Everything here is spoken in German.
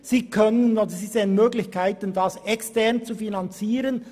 Dieses sieht Möglichkeiten einer externen Finanzierung.